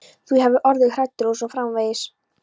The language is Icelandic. Þú hafir orðið hræddur og svo framvegis.